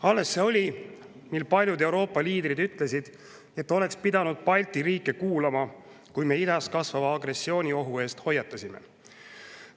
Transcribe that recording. Alles see oli, mil paljud Euroopa liidrid ütlesid, et oleks pidanud Balti riike kuulama, kui me idas kasvava agressiooniohu eest hoiatasime.